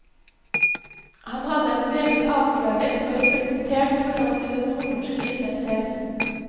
Han hadde et meget avklaret og reflektert forhold til det nordnorske i seg selv.